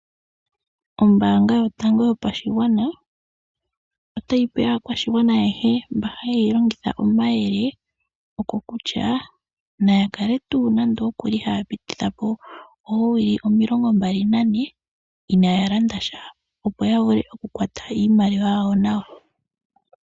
Ombaanga yotango yopashigwana otayi pe aakwashigwana ayehe mba haye yilongitha omayele kokutya naya kale haya pitithapo oowili omilongo mbali nane inaya landasha opo ya vule oku kwata iimaliwa yawo nawa.